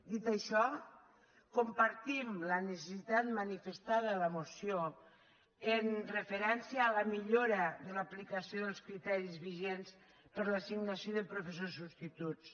dit això compartim la necessitat manifestada a la moció amb referència a la millora de l’aplicació dels criteris vigents per a l’assignació de professors subs·tituts